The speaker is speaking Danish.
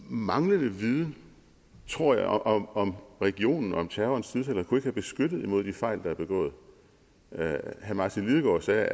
manglende viden tror jeg om om regionen om terrorens tidsalder kunne ikke have beskyttet imod fejl der er begået herre martin lidegaard sagde